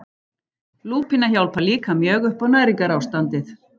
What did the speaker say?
Lúpína hjálpar líka mjög upp á næringarástandið.